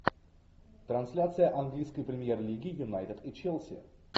трансляция английской премьер лиги юнайтед и челси